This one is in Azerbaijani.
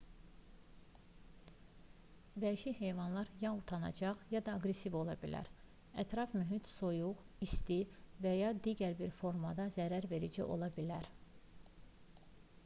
vəhşi heyvanlar ya utancaq ya da aqressiv ola bilərlər ətraf mühit soyuq isti və ya digər bir formada zərərverici ola bilər